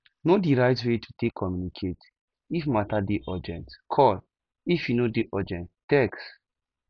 know di right way to take communicate if matter dey urgent call if e no dey urgent text